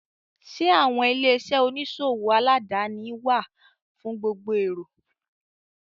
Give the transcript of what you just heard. Sẹ́ àwọn ilé-iṣẹ́ oníṣòwò aládàáni wà fún gbogbo èrò?